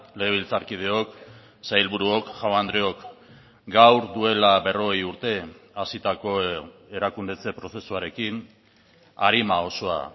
legebiltzarkideok sailburuok jaun andreok gaur duela berrogei urte hasitako erakundetze prozesuarekin arima osoa